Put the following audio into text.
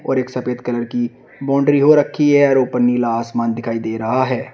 और एक सफेद कलर की बाउंड्री हो रखी है और ऊपर नीला आसमान दिखाई दे रहा है।